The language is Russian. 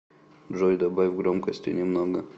джой добавь громкости немного